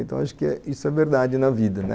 Então acho que isso é verdade na vida, né